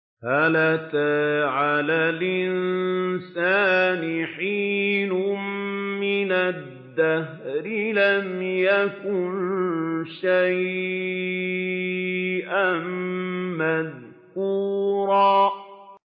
هَلْ أَتَىٰ عَلَى الْإِنسَانِ حِينٌ مِّنَ الدَّهْرِ لَمْ يَكُن شَيْئًا مَّذْكُورًا